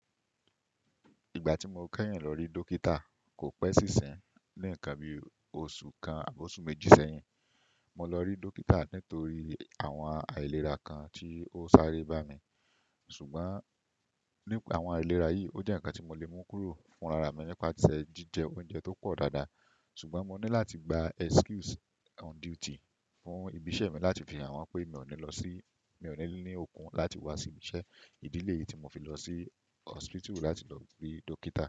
Ìgbà tí mo kẹ́yìn lọ rí dókítà kò pẹ́ sí isin, ní ǹkan bí oṣù kan àbí oṣù méjì sẹ́yìn. Mo lọ rí dókítà nítorí àwọn àìlera kan tí ó sáré bá mi, ṣùgbọ́n ní pa àwọn àìlera yìí, ó jẹ́ ǹkan tí mo lè mú kúrò fún rara mi nípasẹ̀ jíjẹ oúnjẹ tó pọ̀ dáadáa. Ṣùgbọ́n mo ní láti gba excuse on duty fún ibi iṣẹ́ mi láti fi hàn wọ́n pé mi ò ní lọ sí-- mi ò ní ní okun láti wá sí ibi iṣẹ́. Ìdílé yìí tí mo fi lọ sí hospital láti lọ rí dókítà.